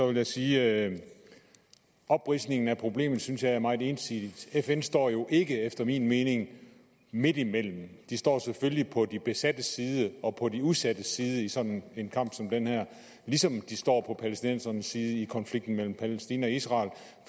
vil jeg sige at opridsningen af problemet synes jeg er meget ensidig fn står jo ikke efter min mening midtimellem de står selvfølgelig på de besattes side og på de udsattes side i sådan en kamp som den her ligesom de står på palæstinensernes side i konflikten mellem palæstina og israel